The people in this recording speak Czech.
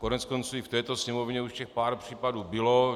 Koneckonců i v této Sněmovně už těch pár případů bylo.